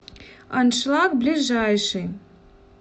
аншлаг ближайший